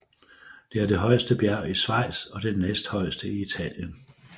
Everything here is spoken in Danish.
Det er det højeste bjerg i Schweiz og det næsthøjeste i Italien